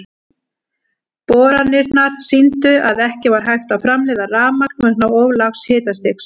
Boranirnar sýndu að ekki var hægt að framleiða rafmagn vegna of lágs hitastigs.